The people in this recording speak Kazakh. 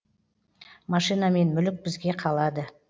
машина мен мүлік бізге қалады